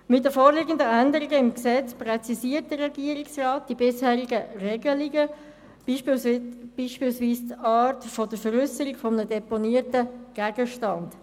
Mit den vorliegenden Änderungen im Gesetz präzisiert der Regierungsrat die bisherigen Regelungen, beispielsweise die Art der Veräusserung eines deponierten Gegenstands.